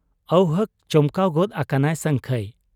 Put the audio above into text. ᱟᱹᱣᱦᱟᱹᱠ ᱪᱚᱢᱠᱟᱣ ᱜᱚᱫ ᱟᱠᱟᱱᱟᱭ ᱥᱟᱹᱝᱠᱷᱟᱹᱭ ᱾